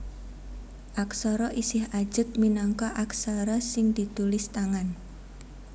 Aksara isih ajeg minangka aksara sing ditulis tangan